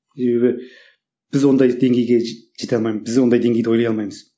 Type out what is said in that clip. себебі біз ондай деңгейге жете алмаймыз біз ондай деңгейде ойлай алмаймыз